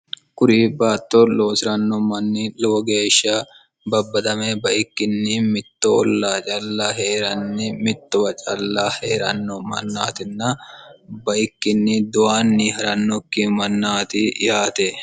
kuri baattor loosi'ranno manni lowo geeshsha babbadame baikkinni mittoolla calla hee'ranni mittowa calla hee'ranno mannaatinna baikkinni duyanni ha'rannokki mannaati yaate